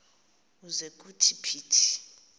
ukuze kuthi phithi